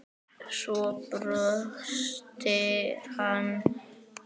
Svo brosti hann.